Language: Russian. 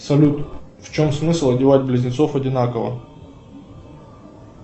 салют в чем смысл одевать близнецов одинаково